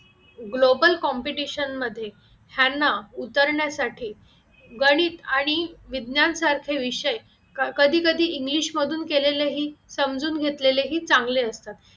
global competition मध्ये ह्यांना उतरण्यासाठी गणित आणि विज्ञान सारखे विषय कधी कधी इंग्लिश मधून केलेले ही समजून घेतलेले ही चांगले असतात